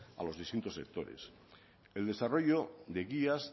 a los distintos sectores el desarrollo de guías